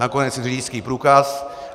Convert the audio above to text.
Nakonec i řidičský průkaz.